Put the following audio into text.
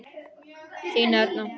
Þín Erna.